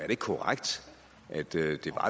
ikke korrekt at det